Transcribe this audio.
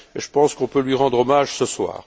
Je pense qu'on peut lui rendre hommage ce soir.